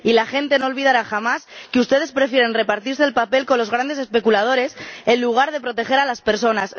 Y la gente no olvidará jamás que ustedes prefieren repartirse el pastel con los grandes especuladores en lugar de proteger a las personas.